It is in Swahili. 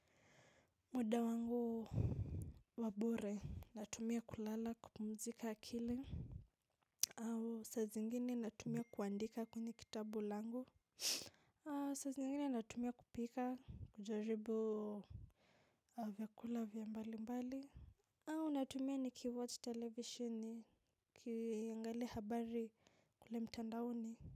Muda wangu wa bure natumia kulala kupumzika akili au saa zingine natumia kuandika kwenye kitabu langu aa saa zingine natumia kupika kujaribu au vyakula vya mbali mbali au natumia nikiwatch televisheni kiangalia habari kule mtandaoni.